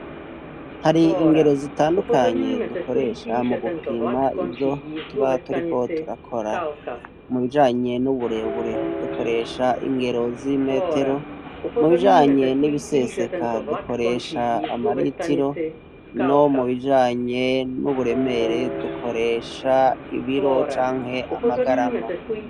Hari ingero zitandukanye dukoresha mu gupima ivyo tuba turiko turakora. Mu bijanye n'uburebure dukoresha ingero z'imetero, mu bijanye n'ibiseseka dukoresha amaritiro, no mibijanye n'uburemere dukoresha ibiro canke amagarama.